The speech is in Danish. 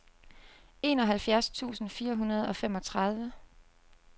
enoghalvfjerds tusind fire hundrede og femogtredive